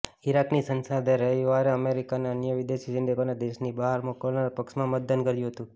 ઈરાકની સંસદે રવિવારે અમેરિકા અને અન્ય વિદેશી સૈનિકોને દેશની બહાર મોકલવાના પક્ષમાં મતદાન કર્યું હતું